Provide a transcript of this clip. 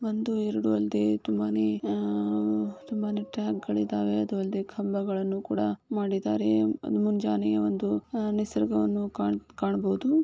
ಒಂದು ಎರಡು ಅಲ್ದೆ ತುಂಬಾನೇ ಅಹ್ ತುಂಬಾನೆ ಟ್ಯಾಗ್ ಗಳಿದಾವೆ. ಅದು ಅಲ್ದೆ ಕಂಬಗಳನ್ನು ಕೂಡ ಮಾಡಿದ್ದಾರೆ. ಮುಂಜಾನೆ ಹ ಒಂದು ನಿಸರ್ಗವನ್ನು ಕಾಣ್ - ಕಾಣ್ಬೋದು.